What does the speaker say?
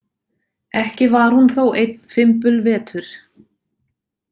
Ekki var hún þó einn fimbulvetur.